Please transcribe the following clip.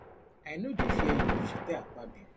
i no dey fear you she tell akpabio